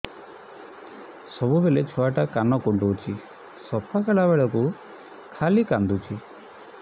ସବୁବେଳେ ଛୁଆ ଟା କାନ କୁଣ୍ଡଉଚି ସଫା କଲା ବେଳକୁ ଖାଲି କାନ୍ଦୁଚି